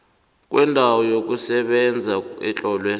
kwendawo yokusebenza etlolwe